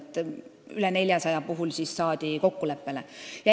Rohkem kui 400 puhul saadi kokkuleppele.